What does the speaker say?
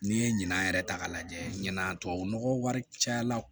N'i ye ɲinan yɛrɛ ta k'a lajɛ ɲinan tubabu nɔgɔ wari cayara